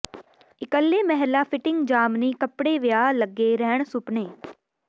ਇਕੱਲੇ ਮਹਿਲਾ ਫਿਟਿੰਗ ਜਾਮਨੀ ਕੱਪੜੇ ਵਿਆਹ ਲੱਗੇ ਰਹਿਣ ਸੁਪਨੇ